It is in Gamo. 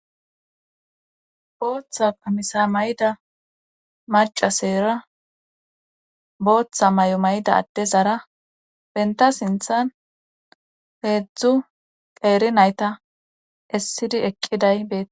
booththa qamisa mayda macaseera booththa mayo mayda adde zara benta sinthan hedzdzu qeeri nayta essidi eqqiday beetes